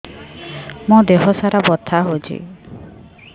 ମୋ ଦିହସାରା ବଥା ହଉଚି